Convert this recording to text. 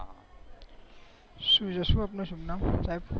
શું છે આપનું સુભનામ સાહેબ